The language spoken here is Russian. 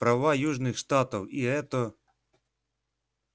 права южных штатов и это